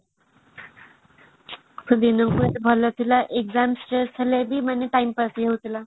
କେତେ ଭଲ ଥିଲା exam ଥିଲେ ବି time pass ହେଇଯାଉଥିଲା